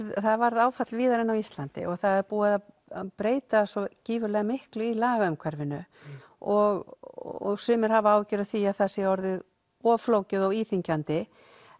það varð áfall víðar en á Íslandi og það er búið að breyta svo gífurlega miklu í laga umhverfinu og sumir hafa áhyggjur af því að það sé orðið of flókið og íþyngjandi